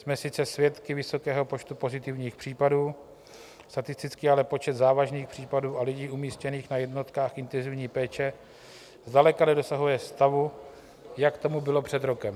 Jsme sice svědky vysokého počtu pozitivních případů, statisticky ale počet závažných případů a lidí umístěných na jednotkách intenzivní péče zdaleka nedosahuje stavu, jak tomu bylo před rokem.